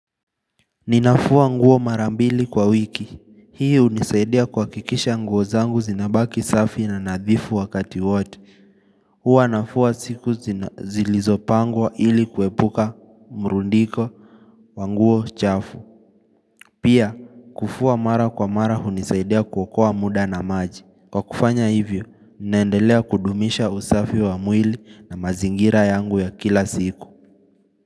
Ninafua nguo marambili kwa wiki, hii hunisaidia kuhakikisha nguozangu zinabaki safi na nadhifu wakati wote huwa nafua siku zilizopangwa ili kuepuka mrundiko wanguo chafu Pia kufua mara kwa mara hunisaidia kuokoa muda na maji Kwa kufanya hivyo, nendelea kudumisha usafi wa mwili na mazingira yangu ya kila siku.